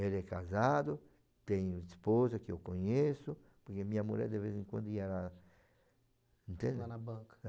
Ele é casado, tem esposa que eu conheço, porque minha mulher de vez em quando ia lá, entende? Lá na banca?